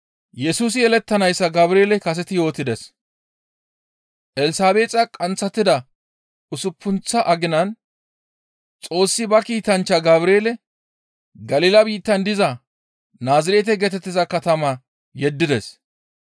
Elsabeexa qanththatida usuppunththa aginan, Xoossi ba kiitanchcha Gabreele, Galila biittan diza Naazirete geetettiza katama yeddides.